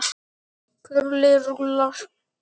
Kurlið rúllar.